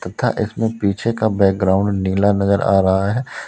तथा इसमें पीछे का बैकग्राउंड नीला नजर आ रहा है।